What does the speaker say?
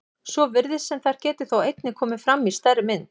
Svo virðist sem þær geti þó einnig komið fram í stærri mynd.